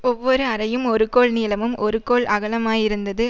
ஒவ்வொரு அறையும் ஒரு கோல் நீளமும் ஒரு கோல் அகலமுமாயிருந்தது